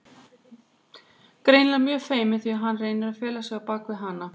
Greinilega mjög feiminn því að hann reynir að fela sig á bak við hana.